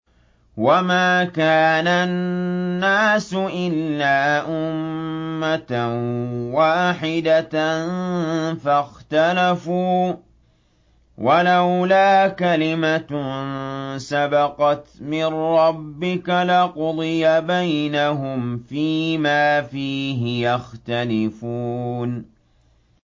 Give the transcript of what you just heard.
وَمَا كَانَ النَّاسُ إِلَّا أُمَّةً وَاحِدَةً فَاخْتَلَفُوا ۚ وَلَوْلَا كَلِمَةٌ سَبَقَتْ مِن رَّبِّكَ لَقُضِيَ بَيْنَهُمْ فِيمَا فِيهِ يَخْتَلِفُونَ